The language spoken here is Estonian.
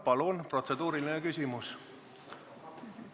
Palun, protseduuriline küsimus!